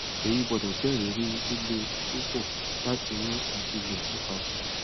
eyi gbọdọ jẹ iriri lile pupọ lati ni ati lọ nipasẹ